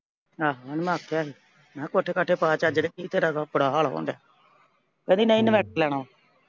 ਆਹੋ ਇਹਨੇ ਮਾਪਿਆ ਸੀ। ਮਖਾਂ ਕੋਠੇ ਕਾਠੇ ਪਾ ਚੱਜ ਦੇ, ਕੀ ਤੇਰਾ ਹੁੰਦਾ, ਕਹਿੰਦੀ ਨਈਂ inverter ਲੈਣਾ ਵਾਂ।